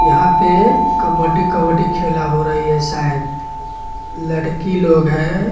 यहां पे कबड्डी कबड्डी खेला हो रही है शायद लड़की लोग हैं।